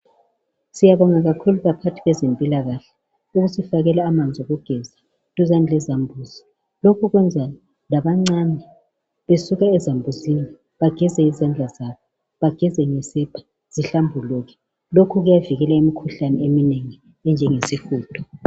Siyabonga kakhulu abaphathi bezempilkahle, bayasifakela amanzi okugeza duzane lezambuzi. Lokhu kwenza labancane besuke ezambuzini bageze izandla zabo, bageze ngesepa, zihlambuluke. Lokhu kuyavikela imikhuhlane eminengi enjengesihudo.